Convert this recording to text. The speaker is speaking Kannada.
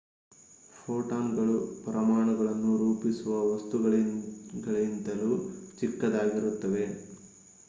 ಫೋಟಾನ್‌ಗಳು ಪರಮಾಣುಗಳನ್ನು ರೂಪಿಸುವ ವಸ್ತುಗಳಿಗಿಂತಲೂ ಚಿಕ್ಕದಾಗಿರುತ್ತವೆ!